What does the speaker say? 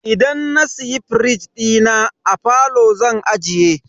Idan na siya firij dina, a falo zan ajiye.